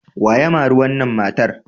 Wa ya mari wannan matar?